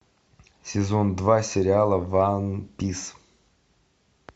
сезон два сериала ван пис